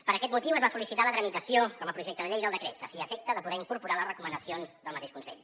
per aquest motiu es va sol·licitar la tramitació com a projecte de llei del decret a fi i efecte de poder incorporar les recomanacions del mateix consell